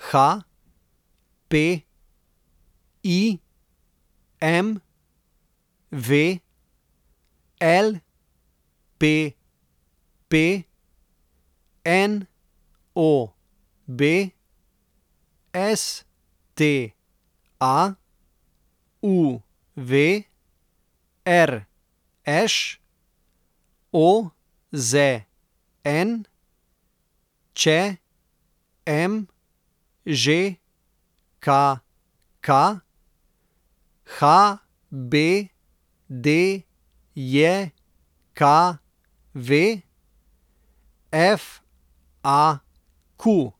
HP, IMV, LPP, NOB, STA, UV, RŠ, OZN, ČM, ŽKK, HBDJKV, FAQ.